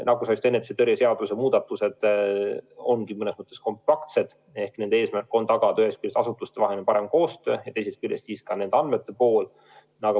Nakkushaiguste ennetamise ja tõrje seaduse muudatused ongi mõnes mõttes kompaktsed ehk nende eesmärk on tagada ühest küljest asutustevaheline parem koostöö ja teisest küljest ka nende andmete kättesaadavus.